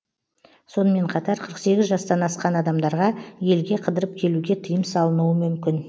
сонымен қатар қырық сегіз жастан асқан адамдарға елге қыдырып келуге тыйым салынуы мүмкін